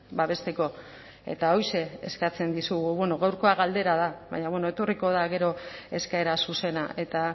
babesteko eta horixe eskatzen dizugu bueno gaurkoa galdera da baina bueno etorriko da gero eskaera zuzena eta